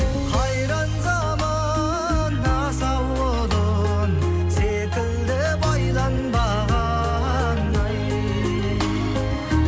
қайран заман асау құлын секілді байланбаған ай